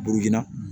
Burukina